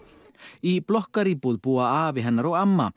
í blokkaríbúð búa afi hennar og amma